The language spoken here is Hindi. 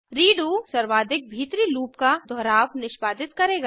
रेडो सर्वाधिक भीतरी लूप का दोहराव निष्पादित करेगा